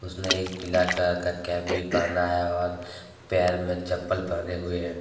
एक पीला का कैप भी पहना है और पैर में चप्पल पहने हुए हैं।